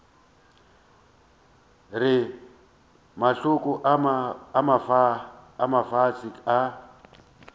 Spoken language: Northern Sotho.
re mahlaku a mafsa a